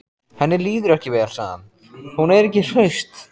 Henni líður ekki vel, sagði hann: Hún er ekki hraust.